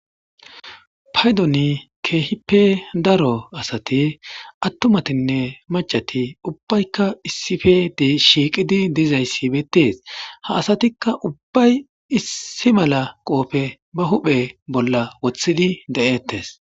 paydoni keehipe daro asati attumatinne macati ubbaykka issife shiiqidi dizayssibeettees ha asatikka ubbay issi mala qoofe ba huphe bolla wothidi de7eettes